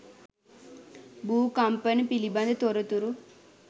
භූ කම්පන පිළිබඳ තොරතුරු